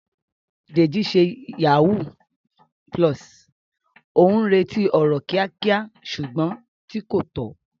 Deji ṣe yahoo +, ó ń retí ọrọ̀ kíákíá ṣùgbọ́n tí kò tọ́.